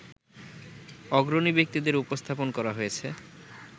অগ্রণী ব্যক্তিদের উপস্থাপন করা হয়েছে